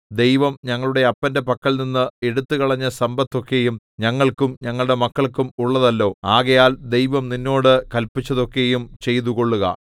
ദൈവം ഞങ്ങളുടെ അപ്പന്റെ പക്കൽനിന്ന് എടുത്തുകളഞ്ഞ സമ്പത്തൊക്കെയും ഞങ്ങൾക്കും ഞങ്ങളുടെ മക്കൾക്കും ഉള്ളതല്ലോ ആകയാൽ ദൈവം നിന്നോട് കല്പിച്ചതൊക്കെയും ചെയ്തുകൊള്ളുക